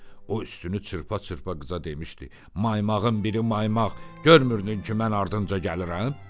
O üstünü çırpa-çırpa qıza demişdi: Maymağın biri maymaq, görmürdün ki, mən ardınca gəlirəm?